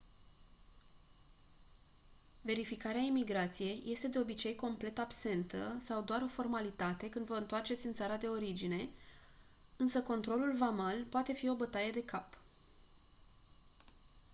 verificarea imigrației este de obicei complet absentă sau doar o formalitate când vă întoarceți în țara de origine însă controlul vamal poate fi o bătaie de cap